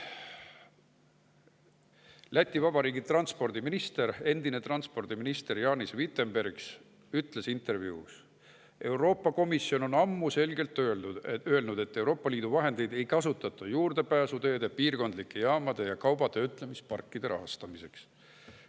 Läti Vabariigi endine transpordiminister Jānis Vitenbergs ütles intervjuus, et Euroopa Komisjon on ammu selgelt öelnud, et Euroopa Liidu vahendeid ei kasutata juurdepääsuteede, piirkondlike jaamade ja kaubatöötlemisparkide rahastamiseks.